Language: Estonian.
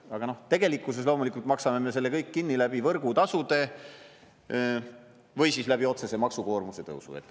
Aga tegelikkuses loomulikult maksame me selle kõik kinni võrgutasude või siis otsese maksukoormuse tõusu kaudu.